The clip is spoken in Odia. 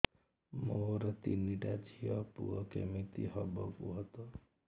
ମୋର ତିନିଟା ଝିଅ ପୁଅ କେମିତି ହବ କୁହତ